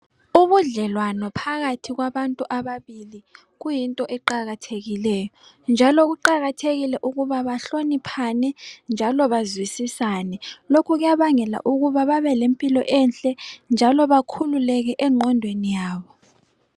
Ubudlelwano phakathi kwabantu ababili kuyinto eqakathekileyo, njalo kuqakathekile ukuba bahloniphane njalo bazwisisane. Lokhu kuyabangela ukuba babe lempilo enhle njalo bakhululeke engqondweni yabo.